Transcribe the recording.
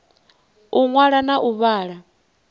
u ṅwala na u vhala